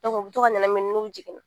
u bɛ to ka ɲanamini n'u jiginna